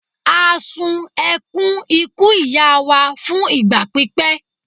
a ṣùn ekuń ikú ìyá wa fún ìgbà pípẹ́